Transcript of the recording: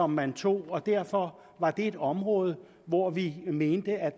man tog og derfor var det et område hvor vi mente at